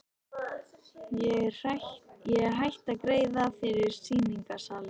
Hún er hætt að greiða fyrir sýningarsali.